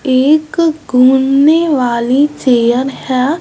एक घूमने वाली चेयर है।